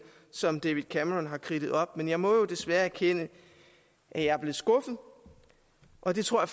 som david cameron har kridtet op men jeg må jo desværre erkende at jeg er blevet skuffet og det tror